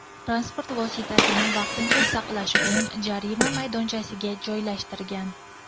transport vositasini vaqtincha saqlash uchun jarima maydonchasiga joylashtirgan.